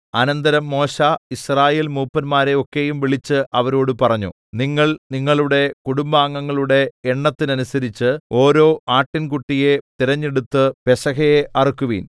അനന്തരം മോശെ യിസ്രായേൽമൂപ്പന്മാരെ ഒക്കെയും വിളിച്ച് അവരോട് പറഞ്ഞു നിങ്ങൾ നിങ്ങളുടെ കുടുംബാംഗങ്ങളുടെ എണ്ണത്തിനനുസരിച്ച് ഓരോ ആട്ടിൻകുട്ടിയെ തിരഞ്ഞെടുത്ത് പെസഹയെ അറുക്കുവിൻ